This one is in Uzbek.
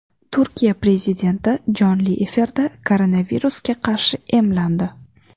Turkiya prezidenti jonli efirda koronavirusga qarshi emlandi.